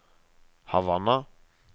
Havanna